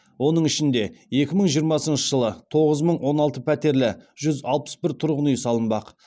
оның ішінде екі мың жиырмасыншы жылы тоғыз мың он алты пәтерлі жүз алпыс бір тұрғын үй салынбақ